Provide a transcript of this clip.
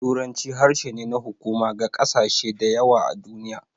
Turanci harshe ne na hukuma ga ƙasashe da yawa a duniya.